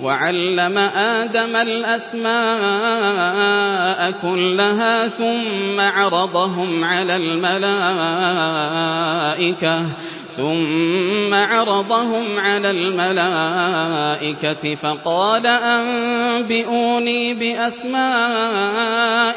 وَعَلَّمَ آدَمَ الْأَسْمَاءَ كُلَّهَا ثُمَّ عَرَضَهُمْ عَلَى الْمَلَائِكَةِ فَقَالَ أَنبِئُونِي بِأَسْمَاءِ